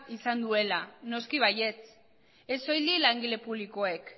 izan duela noski baietz ez soilik langile publikoek